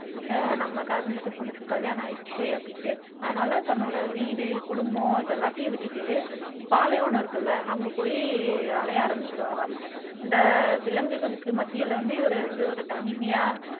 ஆஹ் நம்ம காதலிச்ச பொண்ணுக்கு கல்யாணம் ஆயிடுச்சே அப்படின்னுட்டு அதனால தன்னோட வீடு குடும்பம் இது எல்லாத்தையும் விட்டுட்டு பாலைவனம் இருக்குல்ல அங்க போய் அலைய ஆரம்பிச்சிருவாராம் இந்த விலங்குகளுக்கு மத்தியில வந்து இவரு வந்து இவரு தனிமையா